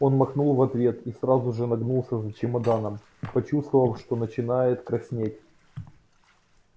он махнул в ответ и сразу же нагнулся за чемоданом почувствовав что начинает краснеть